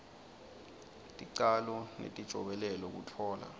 ticalo netijobelelo kutfola